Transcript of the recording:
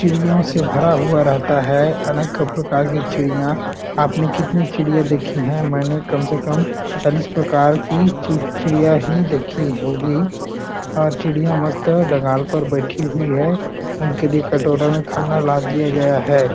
चिड़ियों से भरा हुआ रहता है अनेक प्रकार की चिड़ियाँ आप ने कितनी चिड़ियाँ देखी है मैने कम से कम चालीस प्रकार की चिड़ियाँ ही देखी होगी और चिड़ियाँ मस्त डगा्ल पर बैठी हुई है उनके लिए कटोरा खाना ला दिया गया है।